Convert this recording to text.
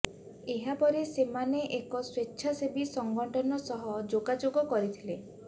ଏହାପରେ ସେମାନେ ଏକ ସ୍ୱେଚ୍ଛାସେବୀ ସଂଗଠନ ସହ ଯୋଗାଯୋଗ କରିଥିଲେ